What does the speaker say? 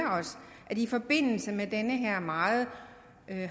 i forbindelse med den her meget